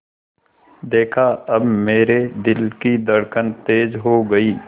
देखा अब मेरे दिल की धड़कन तेज़ हो गई